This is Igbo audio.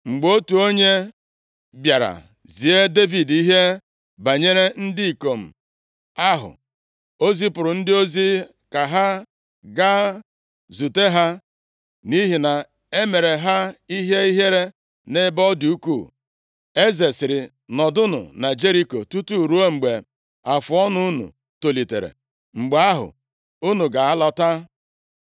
Mgbe otu onye bịara zie Devid ihe banyere ndị ikom ahụ, o zipụrụ ndị ozi, ka ha gaa zute ha, nʼihi na e mere ha ihe ihere nʼebe ọ dị ukwuu. Eze sịrị, “Nọdụnụ na Jeriko tutu ruo mgbe afụọnụ unu tolitere, mgbe ahụ unu ga-alọta.”